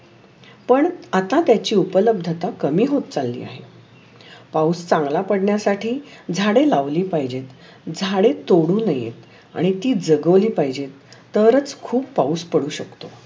पण आता त्याची उपलब्धता कमी होत चालली आहे. और झांगला करण्‍यासाठी झाडे लावले पाहीजे. झाडे तोड नाय आणि ती जगैली पाहीजे तरच खूप पाऊस पडू शकतो.